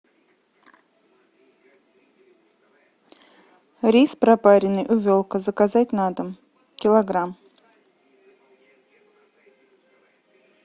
рис пропаренный увелка заказать на дом килограмм